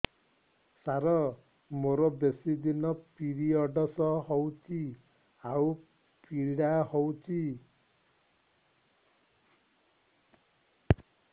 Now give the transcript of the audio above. ସାର ମୋର ବେଶୀ ଦିନ ପିରୀଅଡ଼ସ ହଉଚି ଆଉ ପୀଡା ହଉଚି